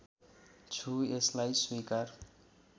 छु यसलाई स्वीकार